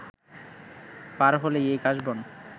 পার হলেই এ কাশবন